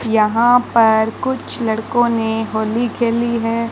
यहां पर कुछ लड़कों ने होली खेली है।